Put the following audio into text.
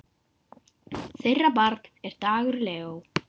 Þeirra barn er Dagur Leó.